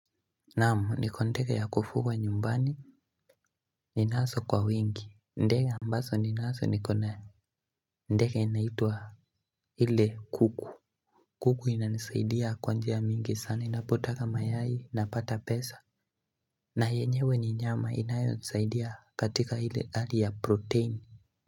Naam niko na ndege ya kufuga nyumbani Ninaso kwa wengi ndege ambaso ninaso nikona Ndeka inaitwa hile kuku kuku inanisaidia kwa njia mingi sana inapotaga mayai napata pesa na yenyewe ni nyama inayonisaidia katika ile hali ya protein.